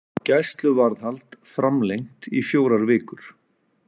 Gæsluvarðhald framlengt í fjórar vikur